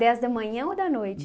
Dez da manhã ou da noite?